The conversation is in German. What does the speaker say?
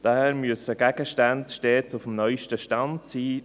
Daher müssen Gegenstände stets auf dem neusten Stand sein.